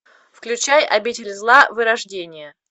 включай обитель зла вырождение